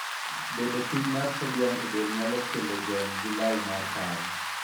Bedo piny mar sodium e del nyalo kelo jony gi lal mar paro.